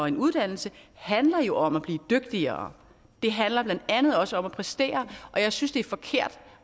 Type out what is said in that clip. en uddannelse handler jo om at blive dygtigere det handler blandt andet også om at præstere og jeg synes det er forkert